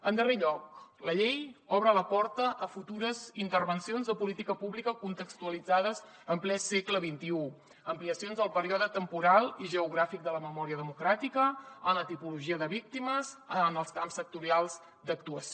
en darrer lloc la llei obre la porta a futures intervencions de política pública contextualitzades en ple segle xxi ampliacions del període temporal i geogràfic de la memòria democràtica en la tipologia de víctimes en els camps sectorials d’actuació